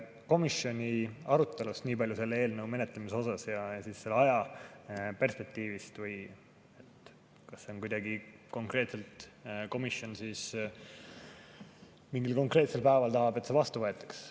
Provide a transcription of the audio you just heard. Komisjoni arutelust selle eelnõu menetlemisel ja selle ajaperspektiivi kohta nii palju, et kas komisjon tahab kuidagi konkreetselt, et see mingil konkreetsel päeval vastu võetakse.